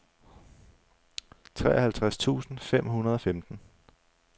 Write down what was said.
treoghalvtreds tusind fem hundrede og femten